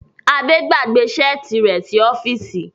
Ade gbàgbé Ṣẹ́ẹ̀tì rẹ sí ọfisi.